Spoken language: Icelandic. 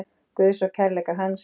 Guðs og kærleika hans.